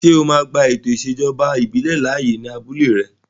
Ṣé o máa gba ètò ìṣèjọba ìbílẹ̀ láàyè ní abúlé rẹ?